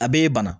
A b'e bana